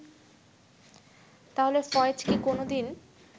তাহলে ফয়েজ কি কোনো দিন